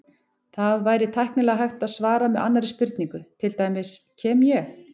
Það væri tæknilega hægt að svara með annarri spurningu, til dæmis: Kem ég?